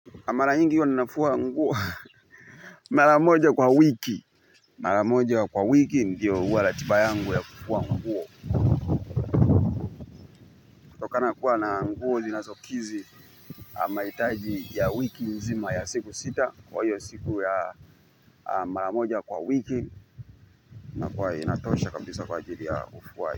Mara nyingi huwa ninafua nguo. Mara moja kwa wiki. Mara moja kwa wiki ndiyo huwa ratiba yangu ya kufua nguo. Kutokana kuwa na nguo zinasokidhi mahitaji ya wiki nzima ya siku sita kwa hiyo siku ya mara moja kwa wiki inakuwa inatosha kabisa kwa jili ya ufuaji.